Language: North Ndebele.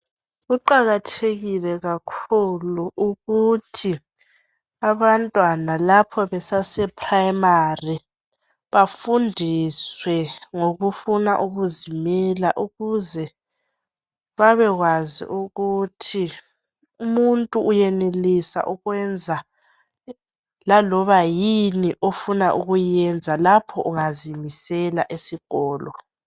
Kuqakathekile kakhulu ukuthi abantwana lapho besase primary bafundiswe ngokufuna ukuzimela ukuze babekwazi ukuthi umuntu uyenelisa ukwenza laloba yini ofuna ukuyenza lapho ungazimisela esikolo.